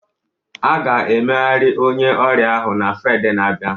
A ga-emegharị onye ọrịa ahụ na Fraịde na-abịa